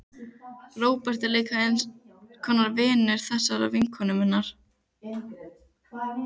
Róbert er líka eins konar vinur þessarar vinkonu minnar.